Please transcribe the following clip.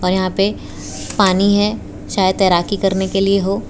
यहां पे पानी है शायद तैराकी करने के लिए हो।